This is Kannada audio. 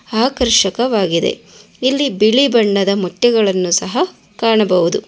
ಆಕರ್ಷಕವಾಗಿದೆ ಇಲ್ಲಿ ಬಿಳಿ ಬಣ್ಣದ ಮೊಟ್ಟೆಗಳನ್ನು ಸಹ ಕಾಣಬಹುದು